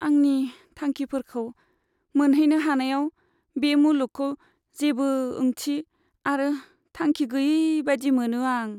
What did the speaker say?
आंनि थांखिफोरखौ मोनहैनो हानायाव बे मुलुगखौ जेबो ओंथि आरो थांखि गैयै बायदि मोनो आं।